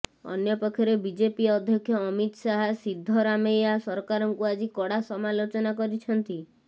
ଅନ୍ୟପକ୍ଷରେ ବିଜେପି ଅଧ୍ୟକ୍ଷ ଅମିତ ଶାହ ସିଦ୍ଦରାମେୟା ସରକାରଙ୍କୁ ଆଜି କଡ଼ା ସମାଲୋଚନା କରିଛନ୍ତି